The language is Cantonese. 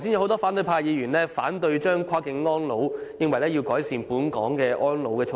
多位反對派議員剛才反對跨境安老，認為當局應先改善本港的安老措施。